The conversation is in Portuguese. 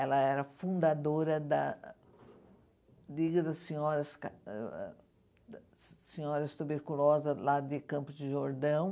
Ela era fundadora da Liga das Senhoras ca ãh Senhoras Tuberculosas, lá de Campos de Jordão.